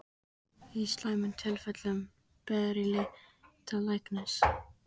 Í slæmum tilfellum ber að leita læknis.